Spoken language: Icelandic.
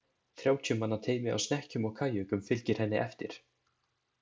Þrjátíu manna teymi á snekkjum og kajökum fylgir henni eftir.